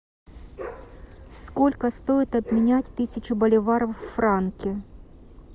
сколько стоит обменять тысячу боливаров в франки